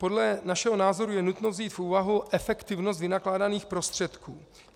Podle našeho názoru je nutno vzít v úvahu efektivnost vynakládaných prostředků.